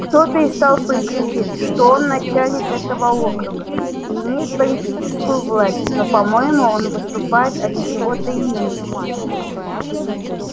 кто-то из толпы кричит что он начальник этого округа и имеет политическую власть но по-моему он выступает от чьего-то имени